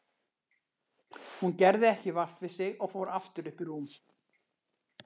Hún gerði ekki vart við sig og fór aftur upp í rúm.